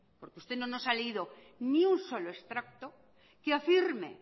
porque usted no nos ha leído ni un solo extracto que afirme